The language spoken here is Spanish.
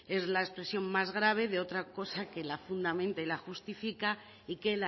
es la expresión más grave de otra cosa que la fundamenta y la justifica y que